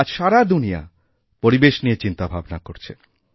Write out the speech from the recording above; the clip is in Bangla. আজ সারা দুনিয়াপরিবেশ নিয়ে চিন্তাভাবনা করছে